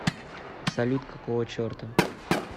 салют какого черта